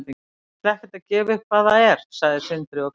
Ég ætla ekkert að gefa upp hvað það er, sagði Sindri og glotti.